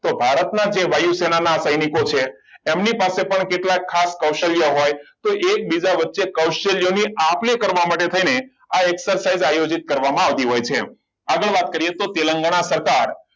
તો ભારતના જે વાયુ સેનાના સૈનિકો છે એમની પાસે પણ કેટલાક ખાસ કૌશલ્ય હોય તો એકબીજા વચ્ચે કૌશલ્ય ની આપ લે કરવા મળે છે ને આ ecercise આયોજિત કરવામાં આવતી હોય છે આગળ વાત કરીએ તો તેલંગાના